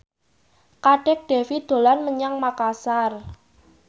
Kadek Devi dolan menyang Makasar